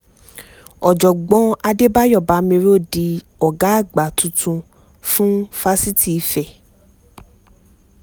ọ̀jọ̀gbọ́n adébáyò bámíró di ọ̀gá àgbà tuntun fún fásitì ife